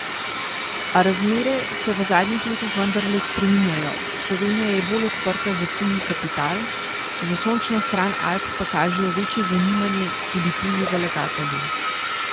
A razmere se v zadnjih letih vendarle spreminjajo, Slovenija je bolj odprta za tuji kapital, za sončno stran Alp pa kažejo večje zanimanje tudi tuji vlagatelji.